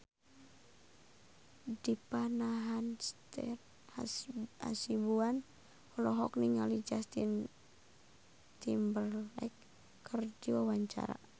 Dipa Nandastyra Hasibuan olohok ningali Justin Timberlake keur diwawancara